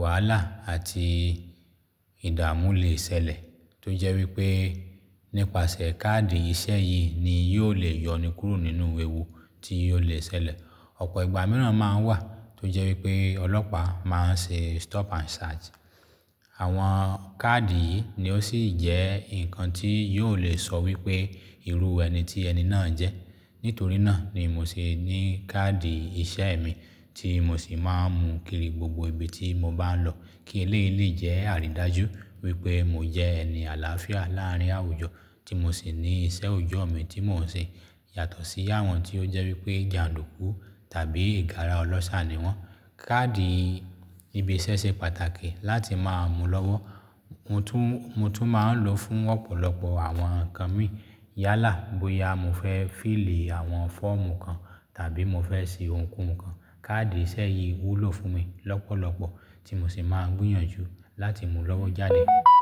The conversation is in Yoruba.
wàhálà àti ìdààmú le ṣẹlẹ̀ tó jẹ́ wípé nípasẹ̀ káàdì ìṣe yìí ni yóò le yọni kúrò nínú ewu tí yóò le ṣẹlẹ̀. Ọ̀pọ̀ ìgbà míràn máa ń wà tó jẹ́ wípé ọlọ́pàá máa ń ṣe stop and search. Àwọn káàdì yìí ni ó sì jẹ́ ǹkan tí yóò le sọ wípé irú ẹni tí ẹni náà jẹ́. Nítorí náà ni mo sì ní káàdì iṣẹ́ mi tí mo sì máa ń mú kiri gbogbo ibi tí mo bá ń lọ kí eléyi jẹ́ àrídájú wípé mo jẹ́ ẹni àlàáfíà láàárín àwùjọ tí mo sì ní ìṣe ojú ọ̀mi tí mò ń ṣe yàtọ̀ sí àwọn tí ó jẹ́ wípé jàndùkú tàbí ìgárá ọlọ́ṣà ni wọ́n. Káàdì ibi iṣẹ́ ṣe pàtàkì láti máa múlọ́wọ́. Mo tún, mo tún máa ń lò fún ọ̀pọ̀lọpọ̀ àwọn ǹkan mi. Yálà bóyá mo fẹ́ fill àwọn fọ́ọ̀mù kan tàbí mo fẹ́ ṣe ohunkóhun kan. Káàdì ìṣe yìí wúlò fún mi lọ́pọ̀lọpọ̀ tí mo sì máa ń gbìyànjú láti mú lọ́wọ́ jáde.